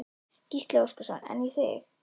Gísli Óskarsson: En í þig?